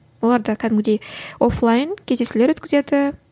оларда кәдімгідей офлайн кездесулер өткізеді